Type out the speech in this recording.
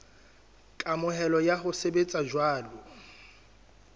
kamohelo ya ho sebetsa jwalo